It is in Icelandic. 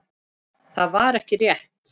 Það var ekki rétt.